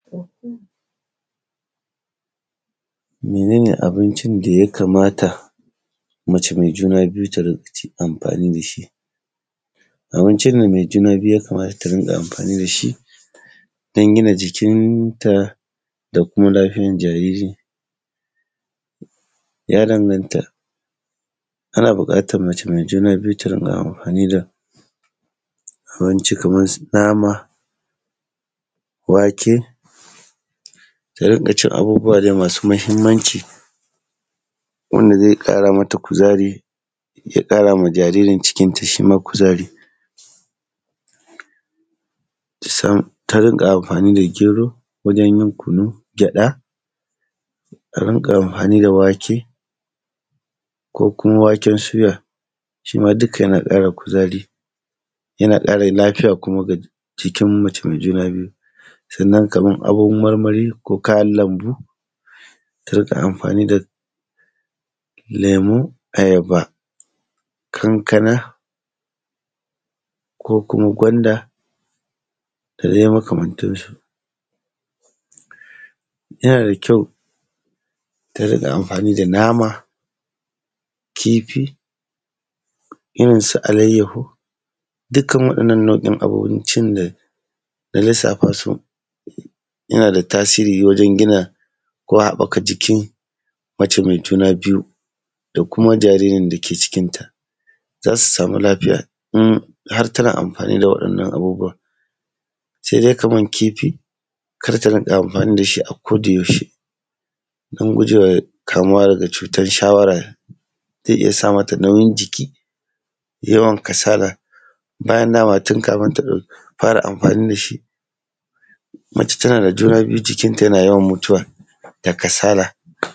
Mene ne abincin da ya kamata mace mai juna biyu ta riƙa ci, amfani da shi? abincin da ya kamata mai juna biyu ta riƙa amfani da shi, don gina jikinta da kuma lafiyan jariri, ya danganta. Ana buƙatar mace mai juna biyu ta riƙa amfani da, abinci kamar su nama, wake, ta riƙa cin abubuwa dai masu muhimmanci, wanda zai ƙara mata kuzari, ya ƙara ma jaririn cikinta shi ma kuzari. Kusan, ta riƙa amfani da gero, wajen yin kunun gyaɗa; ta riƙa amfani da wake, ko kuma waken suya, duka yana ƙara kuzari, yana ƙara lafiya kuma ga jikin mace mai juna biyu, nan kamar kayan marmari, ko kayan lambu. Ta riƙa amfani da lemu, ayaba, kankana, ko kuma gwanda, da dai makamantansu. Yana da kyau, ta riƙa amfani da nama, kifi, irin su alayyaho, dukan waɗannan nau’in abincin da na lissafa su, yana da tasiri wajen gina, ko haɓaka jikin mace mai juna biyu, da kuma jaririn da ke cikinta, za su samu lafiya in har tana amfani da waɗannan abubuwan. Sai dai kamar kifi, kar ta riƙa amfani da shi a kodayaushe, don guje wa kamuwa daga cutar shawara, zai iya sa mata nauyin jiki, yawan kasala. Bayan da ma tun kafin ta ɗau, fara amfani da shi, mace tana da juna biyu jikinta yana yawan mutuwa, da kasala.